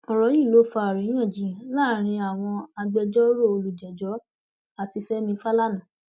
ọrọ yìí ló fa àríyànjiyàn láàrin àwọn agbẹjọrò olùjẹjọ àti fẹmi fàlànà